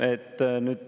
Aitäh!